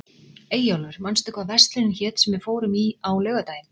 Eyjólfur, manstu hvað verslunin hét sem við fórum í á laugardaginn?